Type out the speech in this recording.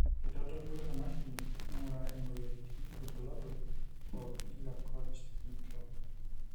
keitodolu emashini naing'uraa imoyiaritin ilbulabol pookin le COACH syndrome.